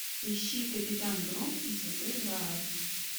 ищи капитан гром и святой грааль